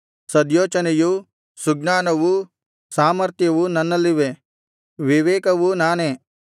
ಸದ್ಯೋಚನೆಯೂ ಸುಜ್ಞಾನವೂ ಸಾಮರ್ಥ್ಯವೂ ನನ್ನಲ್ಲಿವೆ ವಿವೇಕವೂ ನಾನೇ